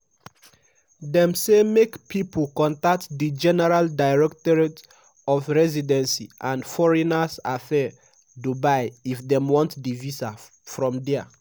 dem say make pipo contact di general directorate of residency and foreigners affairs dubai if dem want di visa from dia.